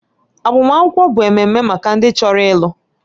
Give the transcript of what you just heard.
Agbamakwụkwọ bụ ememe maka ndị chọrọ ịlụ